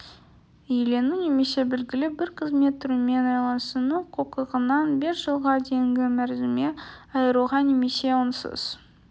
иелену немесе белгілі бір қызмет түрімен айланысу құқығынан бес жылға дейінгі мерзімге айыруға немесе онсыз